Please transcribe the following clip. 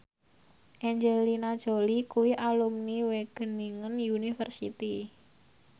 Angelina Jolie kuwi alumni Wageningen University